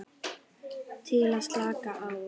Til að slaka á.